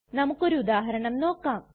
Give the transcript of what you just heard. നമുക്കൊരു ഉദാഹരണം നോക്കാം